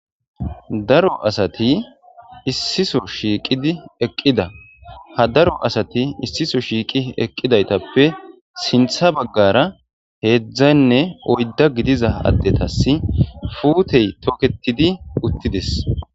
daro asati issiso shiiqidi eqqida ha daro asati issiso shiiqi eqqidaytappe sintha baggara heedzdzaynne oydda gidiza addetas futey toketidi uttides